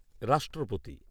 রাষ্ট্রপতি